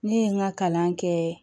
Ne ye n ka kalan kɛ